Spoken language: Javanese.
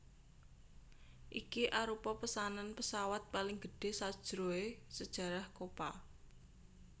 Iki arupa pesanan pesawat paling gedhe sajroe sejarah Copa